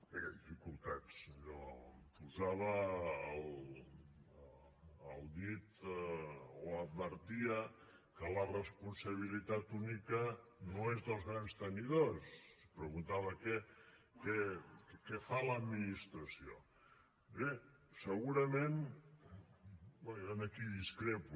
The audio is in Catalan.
bé dificultats allò posava el dit o advertia que la responsabilitat única no és dels grans tenidors preguntava què fa l’administració bé segurament jo aquí discrepo